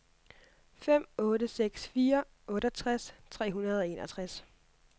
fem otte seks fire otteogtres tre hundrede og enogtres